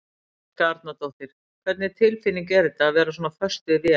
Helga Arnardóttir: Hvernig tilfinning er þetta, að vera svona föst við vél?